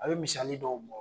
A bɛ misali dɔw bɔ.